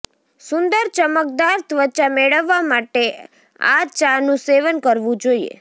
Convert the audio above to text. સુંદર ચમકદાર ત્વચા મેળવવા માટે આ ચા નું સેવન કરવું જોઈએ